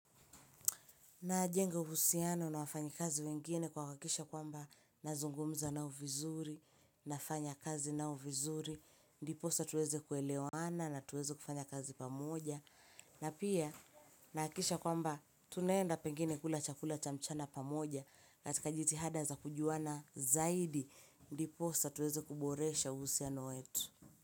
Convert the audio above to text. Najenga uhusiano na wafanyikazi wengine kuhakakisha kwamba nazungumza nao vizuri, nafanya kazi nao vizuri, ndiposa tuweze kuelewana na tuweze kufanya kazi pamoja. Na pia nahakikisha kwamba tunaenda pengine kula chakula cha mchana pamoja, katika jitihada za kujuana zaidi, ndiposa tuweze kuboresha uhusiano wetu.